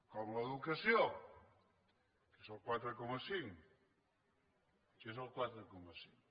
com l’educació que és el quatre coma cinc que és el quatre coma cinc